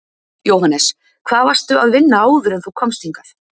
Jóhannes: Hvar varstu að vinna áður en þú komst hingað?